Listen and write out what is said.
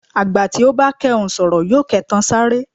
Àgbà tí ò bá kẹhùn sọ̀rọ̀ yóò kẹtan sáré.